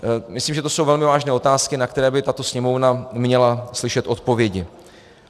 Myslím, že to jsou velmi vážné otázky, na které by tato Sněmovna měla slyšet odpovědi.